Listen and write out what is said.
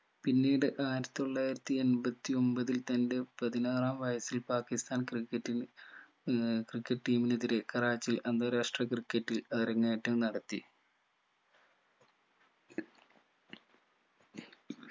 പിന്നീട് ആയിരത്തി തൊള്ളായിരത്തി എമ്പത്തി ഒമ്പതിൽ തന്റെ പതിനാറാം വയസ്സിൽ പാകിസ്ഥാൻ ക്രിക്കറ്റിന് ഏർ ക്രിക്കറ്റ് team നെതിരെ കറാച്ചിയിൽ അന്താരാഷ്‌ട്ര ക്രിക്കറ്റിൽ അരങ്ങേറ്റം നടത്തി